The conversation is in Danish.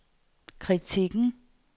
kritikken